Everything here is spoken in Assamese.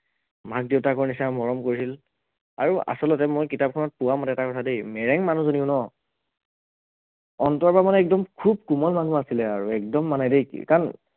মাক দেউতাকৰ নিচিনা মৰম কৰিছিল আৰু আচলতে মই কিতাপখনত পোৱা মতে এটা কথা দেই মেৰেং মানুহজনীও ন অন্তৰৰ পৰা মানে একদম খুউব কোমল মানুহ আছিলে আৰু একদম মানে দেই কাৰণ